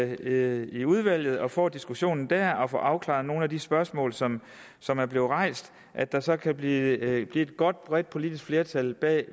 i udvalget og får diskussionen der og får afklaret nogle af de spørgsmål som som er blevet rejst at der så kan blive et godt bredt politisk flertal bag